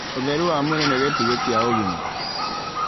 Ũtheru wa mwĩrĩ nĩ gĩtugĩ kĩa ũgima